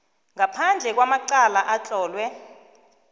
ngaphandle kwamacala atlolwe